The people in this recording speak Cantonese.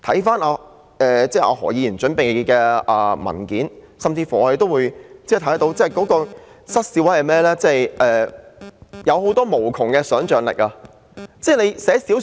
翻看何議員準備的文件，實在令人失笑，因為當中有無窮的想象力。